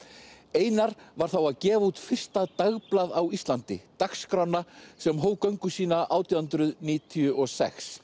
einar var þá að gefa út fyrsta dagblað á Íslandi dagskrána sem hóf göngu sína átján hundruð níutíu og sex